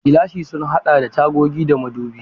Gilashin sun haɗa da tagogi da madubai.